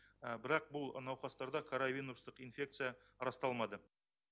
бірақ бұл науқастарда коровинустық инфекция расталмады